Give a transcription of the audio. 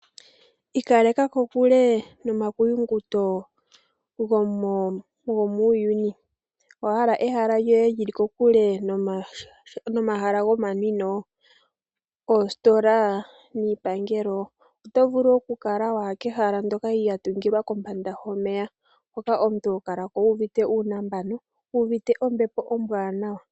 Ikaleka kokule no ma kuyunguto go muuyuni. Owa hala ehala lyoye lyi li kokule nomahala gomanwino, oositola niipangelo? Oto vulu okukala wa ya kehala ndoka lya tungilwa kombanda yomeya. Hoka omuntu ho kala ko wu uvite uunambano, wu uvite ombepo ombwaanawa.